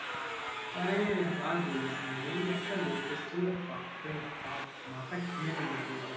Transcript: আরে আর বলিস না এই একটা লোক এসেছিলো বাপরে বাপ মাথা খেয়ে নিলো পুরো বকে,